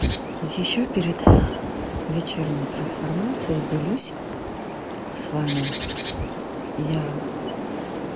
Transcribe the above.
ещё перед вечерней трансформации я делюсь с вами я